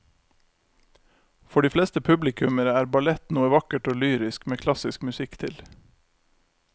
For de fleste publikummere er ballett noe vakkert og lyrisk med klassisk musikk til.